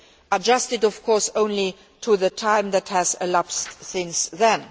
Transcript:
adjusted of course only to the time that has elapsed since then.